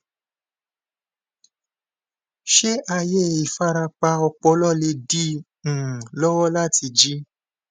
ṣé ààyè ìfarapa ọpọlọ lè dí i um lọwọ láti jí